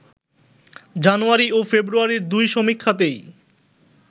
জানুয়ারি ও ফেব্রুয়ারির দুই সমীক্ষাতেই